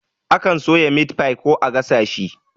Akan soya mitfai ko a gasa shi